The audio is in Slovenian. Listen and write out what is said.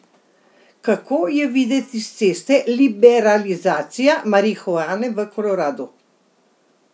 Kako je videti s ceste liberalizacija marihuane v Koloradu?